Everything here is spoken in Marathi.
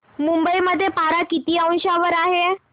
मुंबई मध्ये पारा किती अंशावर आहे